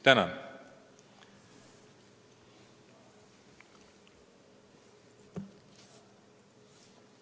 Tänan!